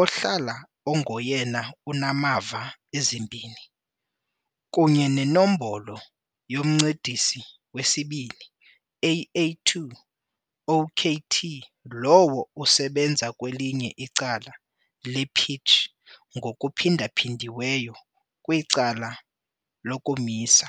ohlala engoyena unamava ezimbini, kunye nenombolo yoMncedisi 2, "AA2," okt lowo usebenza kwelinye icala le-pitch, ngokuphindaphindiweyo kwicala lokumisa.